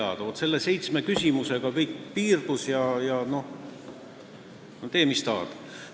Aga vaat selle seitsme küsimusega kõik piirdus, tee, mis tahad.